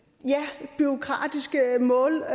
bureaukratisk målestok